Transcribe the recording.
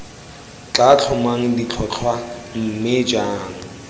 tla tlhomang ditlhotlhwa mme jang